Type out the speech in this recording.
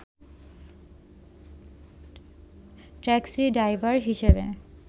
taxi driver হিসেবে